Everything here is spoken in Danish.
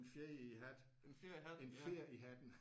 En fjer i hatten en fjer i hatten